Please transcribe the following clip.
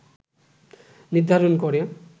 নির্ধারণ করে